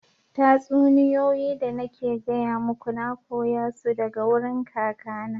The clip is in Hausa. Tatsuniyoyi da nake gaya muku, na koya su daga wurin kakana.